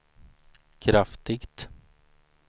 kraftigt